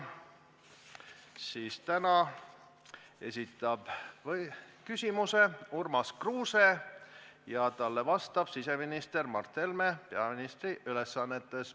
Esimesena esitab küsimuse Urmas Kruuse ja talle vastab siseminister Mart Helme peaministri ülesannetes.